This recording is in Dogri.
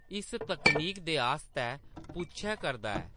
इस तकनीक दे आस्तै पुच्छै करदा ऐ